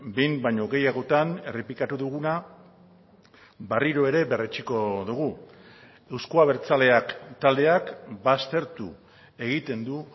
behin baino gehiagotan errepikatu duguna berriro ere berretsiko dugu euzko abertzaleak taldeak baztertu egiten du